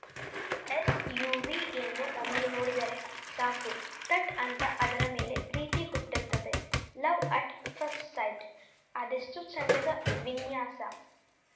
ಈ ಎಸ್‌ಯುವಿಯನ್ನು ಒಮ್ಮೆ ನೋಡಿದರೆ ಸಾಕು ಥಟ್‌ ಅಂತ ಅದರ ಮೇಲೆ ಪ್ರೀತಿ ಹುಟ್ಟುತ್ತದೆ ಲವ್‌ ಅಟ್‌ ಫಸ್ಟ್‌ ಸೈಟ್‌ ಅದೆಷ್ಟುಚೆಂದದ ವಿನ್ಯಾಸ